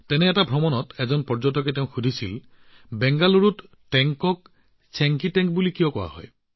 তেনে এক ভ্ৰমণত এজন পৰ্যটকে তেওঁক সুধিলে যে বাংগালুৰুৰ টেংকটোক কিয় চেংকি টেংক বুলি কোৱা হয়